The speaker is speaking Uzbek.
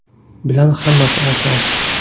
bilan hammasi oson!.